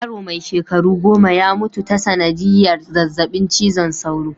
Yaro mai shekaru goma ya mutu ta sanadiyar zazzabin cizon soro.